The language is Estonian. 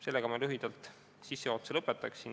Sellega ma lühikese sissejuhatuse lõpetan.